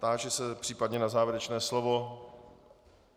Táži se případně na závěrečné slovo.